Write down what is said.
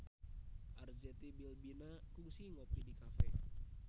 Arzetti Bilbina kungsi ngopi di cafe